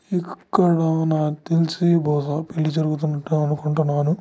ఇక్కడ నాకు తెలిసి బహుస పెళ్లి జరుగుతుంది అనుకుంటాను.